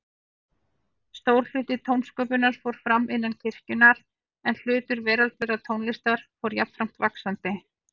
Stór hluti tónsköpunar fór fram innan kirkjunnar, en hlutur veraldlegrar tónlistar fór jafnframt vaxandi.